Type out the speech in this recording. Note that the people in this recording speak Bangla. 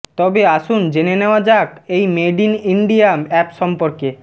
তবে আসুন জেনে নেওয়া যাক এই মেড ইন ইন্ডিয়া অ্যাপ সম্পর্কে